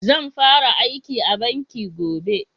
Zan fara aiki a banki gobe